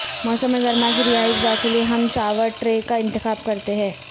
موسم گرما کی رہائش گاہ کے لئے ہم شاور ٹرے کا انتخاب کرتے ہیں